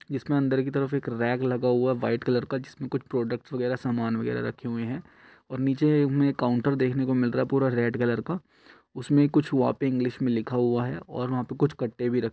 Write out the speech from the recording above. इसके अंदर की तरफ एक रैग लगा हुआ है वाइट कलर का जिसमें कुछ प्रोडक्ट वगैरा सामान वगैरा रखे हुए है और नीचे हमे काउंटर देखने को मिल रहा है पूरा रेड कलर का उसमें कुछ वाक्य इंग्लिश में लिखा हुआ है और वहाँ पैर कुछ कट्टे रखे --